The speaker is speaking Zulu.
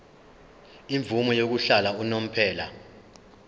imvume yokuhlala unomphema